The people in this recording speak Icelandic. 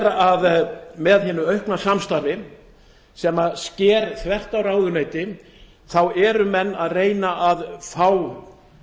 að með hinu aukna samstarfi sem sker þvert á ráðuneytin reyni menn að fá meira